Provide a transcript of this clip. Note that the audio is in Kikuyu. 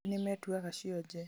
angĩ nĩmetuaga cionje